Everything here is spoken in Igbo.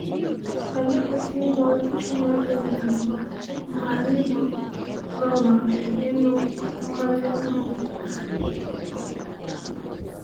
Anyị ekwesịghị ime ọrụ Chineke nyere anyị mgbe anyị nọ n’ọnọdụ ịṅụ mmanya. mmanya.